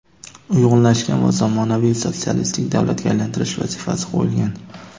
uyg‘unlashgan va zamonaviy sotsialistik davlatga aylantirish vazifasi qo‘yilgan.